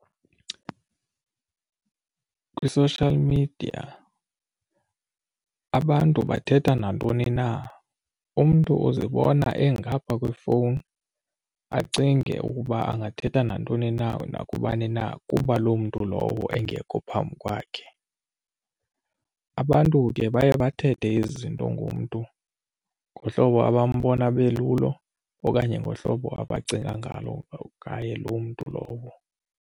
Kwi-social media abantu bathetha nantoni na, umntu uzibona engaphaa kwefowuni acinge ukuba angathetha nantoni na nakubani na kuba loo mntu lowo engekho phambi kwakhe. Abantu ke baye bathethe izinto ngumntu ngohlobo abambona belulo okanye ngohlobo abacinga ngalo ngaye loo mntu lowo.